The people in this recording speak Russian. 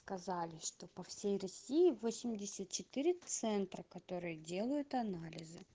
сказали что по всей россии восемьдесят четыре центра которые делают анализы